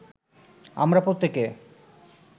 আমরা প্রত্যেকে